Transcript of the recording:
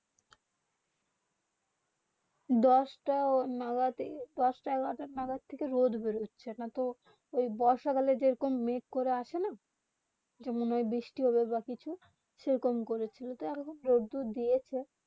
দশ তা এগারো যাবে থেকে রোদ্র বের হচ্ছে না তো বর্ষাকালে যেরকম মেঘ করে আসে না যেমন বৃষ্টি হবে বা কিছু সেইরকম করে এখন রোদ্র দিয়েছে